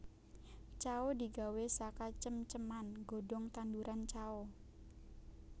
Cao digawé saka cem ceman godhong tanduran cao